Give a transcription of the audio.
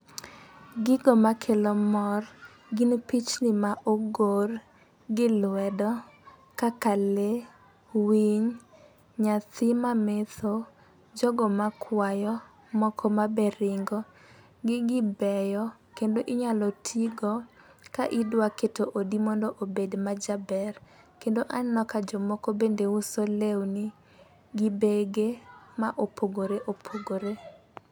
Gigo makelo mor gin pichni ma ogor gi lwedo kaka lee, winy , nyathi mametho, jogo makwayo ,moko mabe ringo. Gigi beyo kendo inyalo tigo ka idwa keto odi mondo obed majaber kendo aneno ka jomoko bende uso lewni gi bege ma opogore opogore.